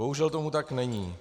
Bohužel tomu tak není.